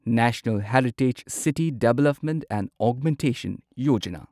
national heritage city development and augmentation Yojana